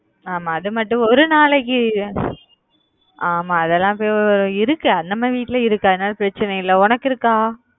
ஆமா அது மட்டும் ஒரு நாளைக்கு ஆமா அதெல்லாம் இருக்கு நம்ம வீட்லயே இருக்கு அதனால பிரச்னை இல்ல உனக்கு இருக்கா